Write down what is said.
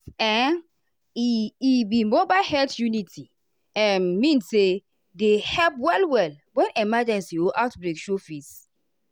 ehn e e be mobile health uniti um mean say dey help well-well when emergency or outbreak show face.